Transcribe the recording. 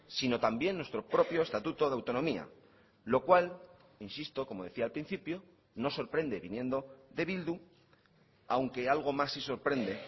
sino también nuestro propio estatuto de autonomía lo cual insisto como decía al principio no sorprende viniendo de bildu aunque algo más sí sorprende